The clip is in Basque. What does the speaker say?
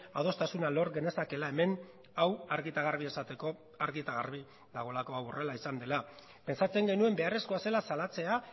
adostasuna lor genezakeela hemen hau argi eta garbi esateko argi eta garbi dagoelako hau horrela izan dela pentsatzen genuen beharrezkoa zela salatzea